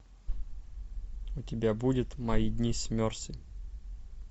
у тебя будет мои дни с мерси